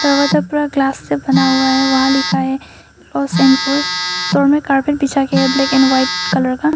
Glass से बना हुआ है वहां लिखा है क्लोज और पुल और मैं कारपेट बिछाया गया है ब्लैक एंड व्हाइट कलर का।